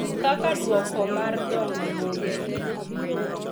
Kaka duoko mar dongo bombe.